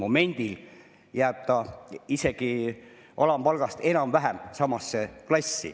Momendil jääb see isegi alampalgaga enam-vähem samasse klassi.